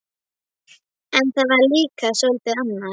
En það var líka soldið annað.